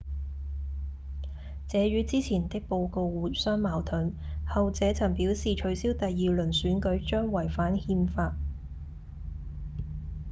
這與之前的報告互相矛盾後者曾表示取消第二輪選舉將違反憲法